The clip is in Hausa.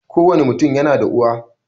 Kowani mutum yana da uwa